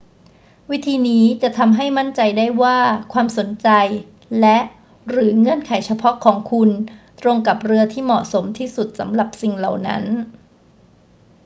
วิธีนี้จะทำให้มั่นใจได้ว่าความสนใจและ/หรือเงื่อนไขเฉพาะของคุณตรงกับเรือที่เหมาะสมที่สุดสำหรับสิ่งเหล่านั้น